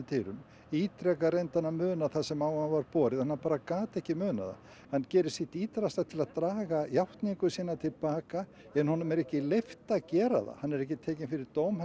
dyrum ítrekað reyndi hann að muna það sem á hann var borið en hann bara gat ekki munað það hann gerir sitt ítrasta til að draga játningar sínar til baka en honum er ekki leyft að gera það hann er ekki tekinn fyrir dóm